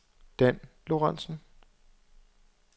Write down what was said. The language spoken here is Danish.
Dan Lorenzen